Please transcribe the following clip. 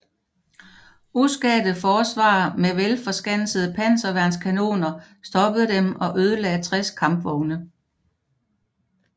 Uskadte forsvarere med velforskansede panserværnskanoner stoppede dem og ødelagde 60 kampvogne